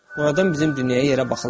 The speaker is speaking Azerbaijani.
Oradan bizim dünyaya yerə baxırlar.